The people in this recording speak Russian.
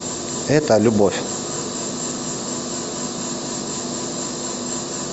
это любовь